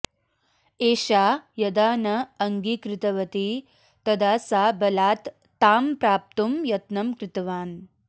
एषा यदा न अङ्गीकृतवती तदा सा बलात् तां प्राप्तुं यत्नं कृतवान्